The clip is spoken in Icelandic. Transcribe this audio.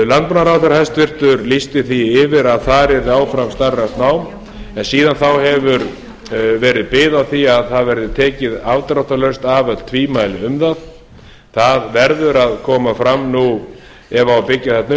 landbúnaðarráðherra hæstvirtur lýsti því yfir að þar yrði áfram starfrækt nám en síðan þá hefur verið bið á því að það verði tekin afdráttarlaust af öll tvímæli um það það verður að koma fram nú ef á að byggja þarna upp